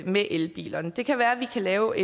med elbilerne det kan være vi kan lave